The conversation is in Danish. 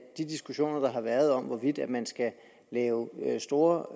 de diskussioner der har været om hvorvidt man skal lave store